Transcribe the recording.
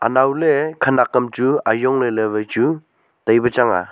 anow ley khanak kam wai chu ajong ley ley tipe chang nga.